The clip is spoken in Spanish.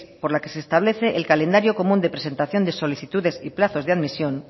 por la que se establece el calendario común de presentación de solicitudes y plazos de admisión